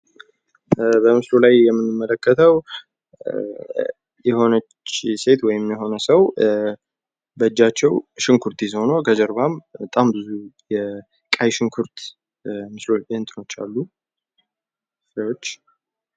በምስሉ ላይ የምንመለከተው የሆነች ሴት ወይም የሆነ ሰው በእጃቸው ሽንኩርት ይዘው ነው። ከጀርባም በጣም ብዙ የቀይ ሽንኩርት እንትኖች አሉ ፍሬዎች።